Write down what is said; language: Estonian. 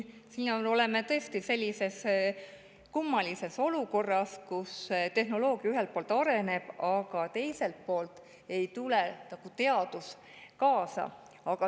Me oleme tõesti kummalises olukorras, kus ühelt poolt tehnoloogia areneb, aga teiselt poolt ei tule teadus kaasa.